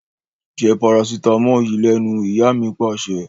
Jẹ́ paracetamol yìí lẹ́nu! Ìyá mi Pàṣẹ.